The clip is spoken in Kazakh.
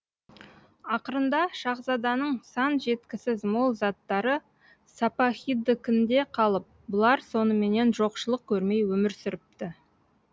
ақырында шаһзаданың сан жеткісіз мол заттары сапаһидікінде қалып бұлар соныменен жоқшылық көрмей өмір сүріпті